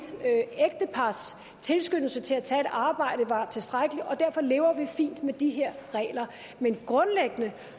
ægtepars tilskyndelse til at tage et arbejde var tilstrækkelig og derfor lever vi fint med de her regler men grundlæggende